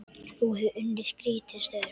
Þú hefur unnið skrítin störf?